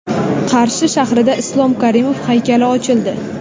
Qarshi shahrida Islom Karimov haykali ochildi.